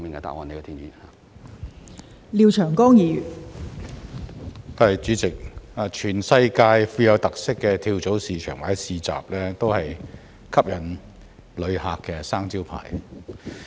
代理主席，全世界富有特色的跳蚤市場或市集，都是吸引旅客的"生招牌"。